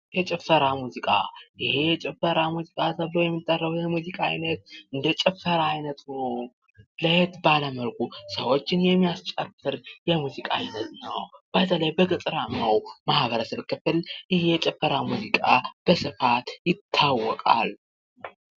የጭፈራ ሙዚቃ ይኸ የጭፈራ ሙዚቃ ተብሎ የሚጠራው የሙዚቃ አይነት ደግሞ እንደ ጭፈራ ሆኖ ለየት ባለ መልኩ ሰዎችን የሚያስጨፍር የሙዚቃ አይነት ነው። በተለይ በገጠራማው የማህበረሰብ ክፍል ይኸ የጭፈራ ሙዚቃ በሰፋት ይታወቃል።